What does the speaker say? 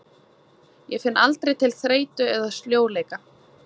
Ég finn aldrei til þreytu eða sljóleika.